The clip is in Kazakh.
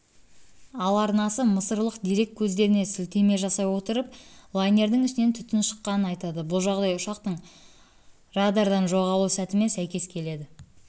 ал арнасы мысырлық дерек көздеріне сілтеме жасай отырып лайнердің ішінен түтін шыққанын айтады бұл жағдай ұшақтың радардан жоғалу сәтімен сәйкес келеді